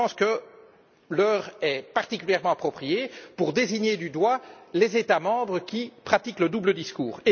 Je pense que l'heure est particulièrement appropriée pour désigner du doigt les États membres qui pratiquent le double discours.